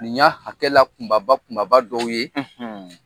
Nin y'a hakɛla kunba kunba dɔw ye